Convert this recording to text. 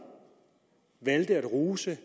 at rose